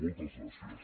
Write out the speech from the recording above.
moltes gràcies